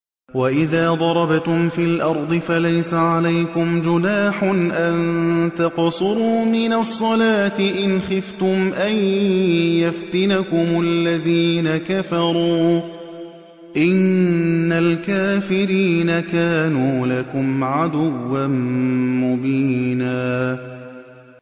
وَإِذَا ضَرَبْتُمْ فِي الْأَرْضِ فَلَيْسَ عَلَيْكُمْ جُنَاحٌ أَن تَقْصُرُوا مِنَ الصَّلَاةِ إِنْ خِفْتُمْ أَن يَفْتِنَكُمُ الَّذِينَ كَفَرُوا ۚ إِنَّ الْكَافِرِينَ كَانُوا لَكُمْ عَدُوًّا مُّبِينًا